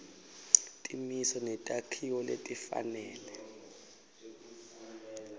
timiso netakhiwo letifanele